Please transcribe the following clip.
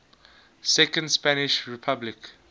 second spanish republic